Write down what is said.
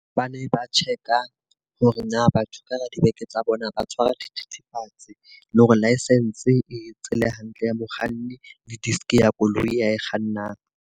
Ba ne ba check-a hore na batho ka hara dibeke tsa bona ha va tshwara dithethefatsi. Le hore licence e tsele hantle ya mokganni le disk ya koloi ya kgannang.